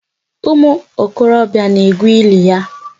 Umu okorobịa na-egwu ili ya.